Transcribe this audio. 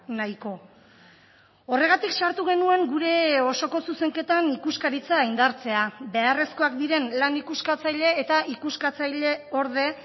nahiko horregatik sartu genuen gure osoko zuzenketan ikuskaritza indartzea beharrezkoak diren lan ikuskatzaile eta ikuskatzaileorde